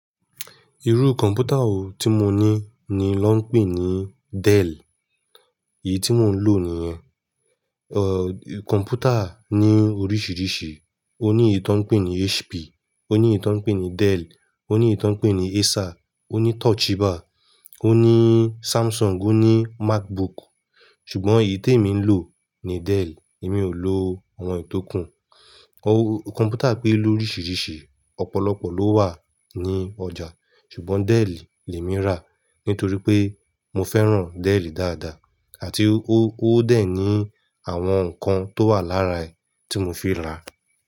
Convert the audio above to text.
Irú kọ̀m̀pútà wo tí mo ní ni lọ́ ń pè é ní Dell. Èyí tí mo ń lò nī̀yẹn. Ọ̀ kọ̀m̀pútà ní oríṣiríṣi. Ó ní èyí tí wọ́n pè é ní HP, ó ní èyí tí wọ́n pè é ní Dell, ó ní èyí tí wọ́n pè é ní Acer, ó ní Toshiba, ó ní Samsung, ó ní Macbook. Ṣùgbọ́n èyí tèmí ń lò ní Dell, èmi ò lò àwọn èyí tókùn. Kọ̀m̀pútà pé lóríṣiríṣi ọ̀pọ̀lọpọ̀ ló wà ní ọjà. Ṣùgbọ́n Dell le mi rà nítorí pé mo fẹ́ràn Dell dáadáa àti ó ó dẹ̀ ní àwọn nǹkan tó wà lára è tí mo fi rà.